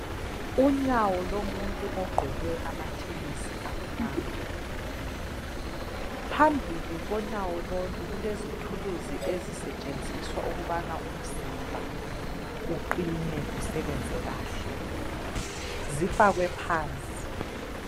Unyawo lomuntu ogqoke amathenisi amnyama. Phambili konyawo lolu kulezithuluzi ezisetshenziswa ukubana umzimba uqine usebenze kahle. Zifakwe phansi.